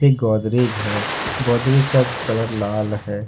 गोदरेज है गोदरेज का कलर लाल है।